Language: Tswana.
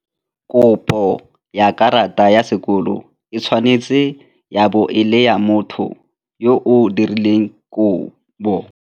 Kopo ya karata ya sekolo e tshwanetse ya bo e le ya motho yo o dirileng kopo.